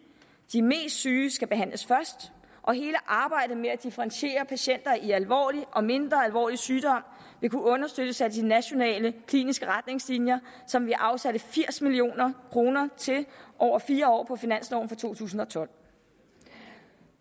at de mest syge skal behandles først og hele arbejdet med at differentiere patienter i alvorlig og mindre alvorlig sygdom vil kunne understøttes af de nationale kliniske retningslinjer som vi afsatte firs million kroner til over fire år på finansloven for to tusind og tolv